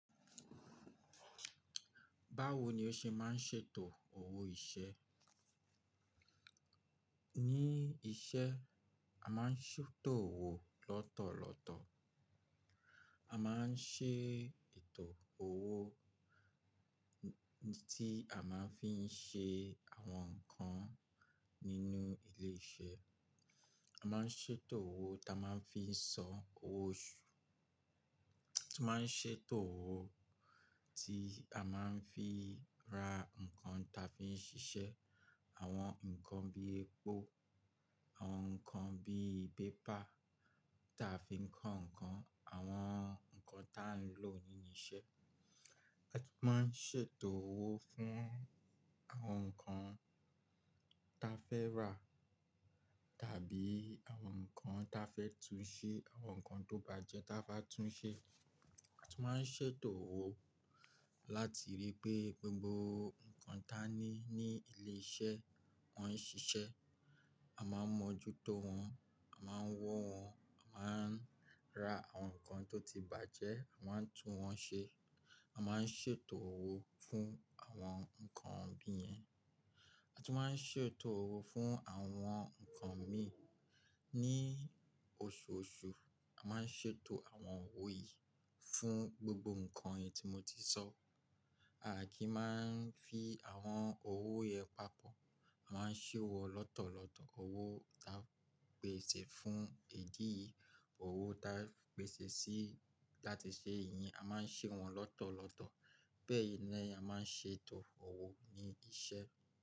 Báwo ni ó ṣe máa ń ṣètò owó iṣẹ́? Ní iṣẹ́ a máa ń ṣètò owó lọ́tọ̀ọ̀tọ̀. A máa ń ṣe ètò owó tí a máa ń fiń ṣe àwọn nǹkan nínú ilé iṣẹ́. A máa ń ṣètò owó tí a máa ń fiń san owó oṣù. A tún máa ń ṣe ètò owó tí a máa ń fin ra nǹkan ta fiń ṣiṣẹ́, àwọn nǹkan bí epo, àwọn nǹkan bí paper ta fiń kọ́ nǹkan, àwọn nǹkan tá ń lò nínú iṣẹ́. A tún máa ń ṣe ètò owó fún àwọn nǹkan ta fẹ́ rà tàbí àwọn nǹkan ta fẹ́ tún ṣe, àwọn nǹkan tó bàjẹ́ ta bá tún ṣe. A tún máa ń ṣe ètò owó láti rí pé gbogbo nǹkan ta ní ní ilé iṣẹ́ wọ́n ń ṣiṣẹ́, a máa ń mọ́jútó wọn, a máa ń wọ́n, a máa ń ra àwọn nǹkan tó ti bàjẹ́, à máa ń tún wọn ṣe. A máa ń ṣètò owó fún àwọn nǹkan bí i yẹn. A tún máa ń ṣètò owó fún àwọn nǹkan mìí ní oṣooṣù. A máa ń ṣètò àwọn owó yìí fún gbogbo nǹkan yìí tí mo ti sọ. Àákí máa ń fi àwọn owó yẹn papọ̀, a máa ń ṣè wọ̀ lọ́tọ̀ọ̀tọ̀ owó tan pèsè fún idií yìí, owó ta pèsè sí láti ṣe eyi, a máa ń ṣe wọ́n lọ́tọ̀ọ̀tọ̀. Bẹ́ẹ̀ ni ẹni a máa ń ṣe ètò owó ní ibi iṣẹ́.